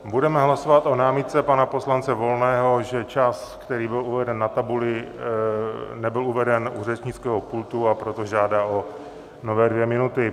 Budeme hlasovat o námitce pana poslance Volného, že čas, který byl uveden na tabuli, nebyl uveden u řečnického pultu, a proto žádá o nové dvě minuty.